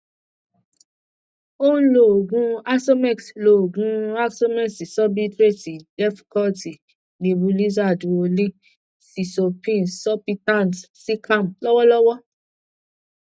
ó ń lo oogun asomex lo oogun asomex sorbitrate defcort nebulizer duolin sizopin sulpitac zicam lọwọlọwọ